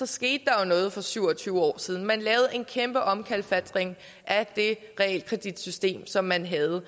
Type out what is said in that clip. skete der noget for syv og tyve år siden man lavede en kæmpe omkalfatring at det realkreditsystem som man havde